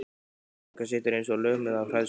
Fjóla frænka situr eins og lömuð af hræðslu.